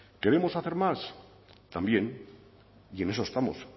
queremos hacer más también y en eso estamos